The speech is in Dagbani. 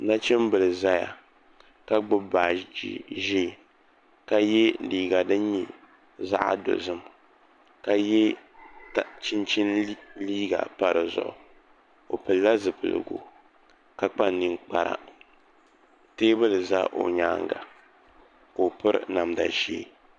Nachimbili n ʒɛya ka gbuni baaji ʒiɛ ka yɛ liiga din nyɛ zaɣ dozim ka yɛ chinchin liiga pa dizuɣu o pilila zipiligu ka kpa ninkpara teebuli ʒɛ o nyaanga ka o piri namda ʒiɛ